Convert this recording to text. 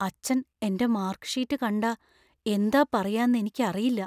അച്ഛൻ എന്‍റെ mark sheet കണ്ടാ എന്താ പറയാന്ന് എനിക്കറിയില്ല.